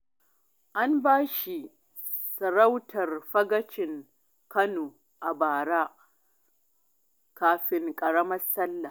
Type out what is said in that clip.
An ba shi sarautar Fagacin Kano a bara kafin ƙaramar Sallah.